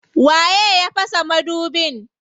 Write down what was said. Waye ya fasa madubin?